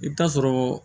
I bɛ taa sɔrɔ